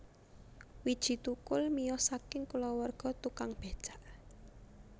Widji Thukul miyos saking kulawarga tukang becak